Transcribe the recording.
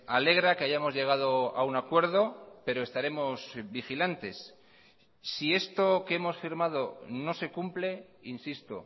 alegra que hayamos llegado a un acuerdo pero estaremos vigilantes si esto que hemos firmado no se cumple insisto